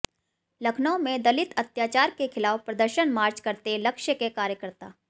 लखनऊ में दलित अत्याचार के खिलाफ प्रदर्शन मार्च करते लक्ष्य के कार्यकर्ता